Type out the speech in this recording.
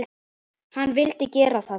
Hann vildi gera það.